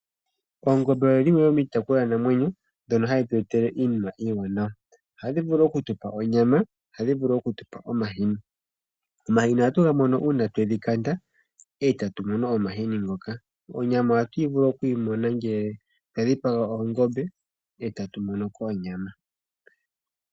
Oongombe oyili wo oshitopolwanamweyo ndhono hadhi tu etele iinima iiwanawa, ohadhi okutupa onyala, ohadhi vulu okutupa omahini. Omahini oha tuga mono iina twedhi kanda e tatu mono omahini ngoka. Onyama oha tu vulu okuyi mona ngele twa dhipaga ongombe e tatu mono ko onyama.